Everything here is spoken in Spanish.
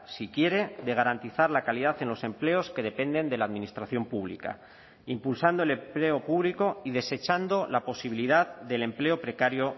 si quiere de garantizar la calidad en los empleos que dependen de la administración pública impulsando el empleo público y desechando la posibilidad del empleo precario